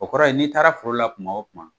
O kɔrɔ ye n'i taara foro la kuma o kuma